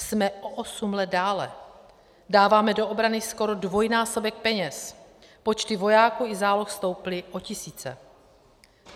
Jsme o osm let dále, dáváme do obrany skoro dvojnásobek peněz, počty vojáků i záloh stouply o tisíce.